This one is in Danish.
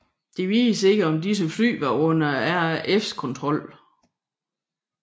Det vides ikke om disse fly var under RAFs kontrol